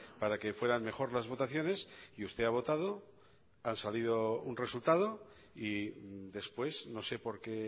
para que fueran mejor las votaciones y usted ha votado ha salido un resultado y después no sé por qué